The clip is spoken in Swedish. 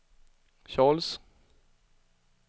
Charles